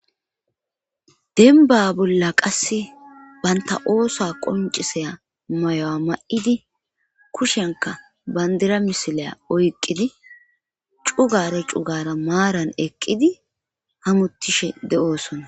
denba bolla qasse banta oosa qonciseya mayo7a ma7idi kushenka bandira misilaya oyqqidi cugare cugara maaran eqqidi hamuttishe de7oosona.